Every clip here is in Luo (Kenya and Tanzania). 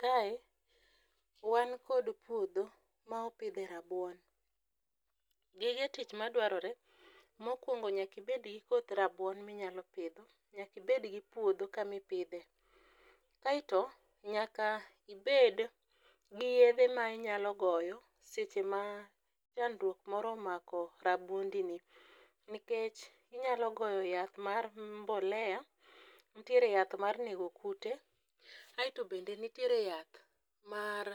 Kae wan kod puodho ma opidhe rabuon. Gige tich madwarore mokwongo nyakibed gi koth rabuon minyalo pidho nyakibed gi puodho kamipidhe. Aeto nyaka ibed gi yedhe ma inyalo goyo seche ma chandruok moro omako rabuondini nkech inyalo goyo yath mar mbolea, ntiere yath mar nego kuto aeto bende nitiere yath mar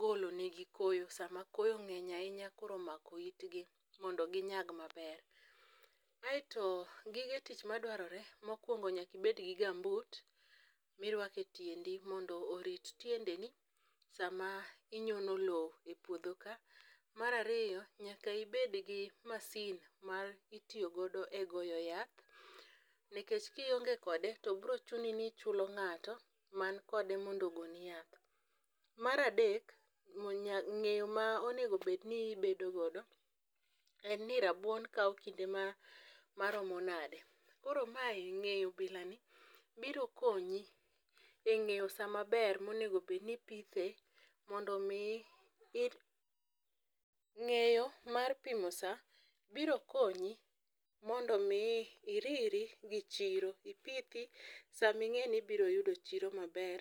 golonegi koyo sama koyo ng'eny ahinya koro omako itgi mondo ginyag maber. Aeto gige tich madwarore mokwongo nyakibedgi gambut mirwako e tiendi mondo orit tiendeni sama inyono lo e puodho ka. Mar ariyo nyaka ibed gi masin mitiyogodo e goyo yath nikech kionge kode to brochuni ni ichulo ng'ato makode mondo ogoni yath. Mar adek, ng'eyo ma onegobedni ibedogodo en ni rabuon kawo kinde maromo nade koro ng'eyo bilani biro konyi e ng'eyo sa maber monegobedni ipithe mondo omi. Ng'eyo mar pimo sa biro konyi mondo omi iriri gi chiro ipithi saming'e ni ibiro yudo chiro maber.